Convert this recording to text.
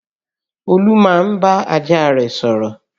Olú máa ń bá ajá rẹ̀ sọ̀rọ̀